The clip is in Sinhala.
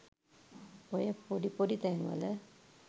ඔය පොඩි පොඩි තැන්වල